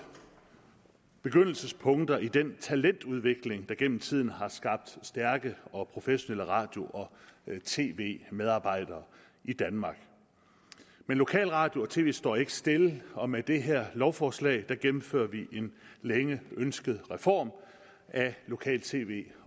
begyndelsespunkt i den talentudvikling der gennem tiden har skabt stærke og professionelle radio og tv medarbejdere i danmark men lokalradio og tv området står ikke stille og med det her lovforslag gennemfører vi en længe ønsket reform af lokal tv